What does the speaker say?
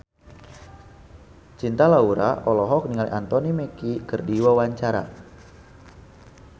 Cinta Laura olohok ningali Anthony Mackie keur diwawancara